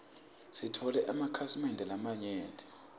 sitfole emakhasi mende lamanyenti